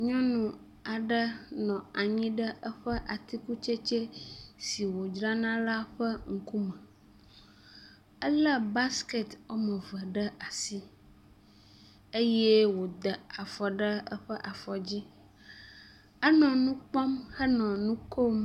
Nyɔnu aɖe nɔ anyi ɖe eƒe atikutsetse si wòdzrana la ƒe ŋkume. Ele basket woameve ɖe asi eye woda afɔ ɖe eƒe afɔ dzi, enɔ nukpɔm henɔ nukom.